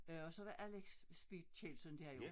Øh og så var Alex Speed Kjeldsen der jo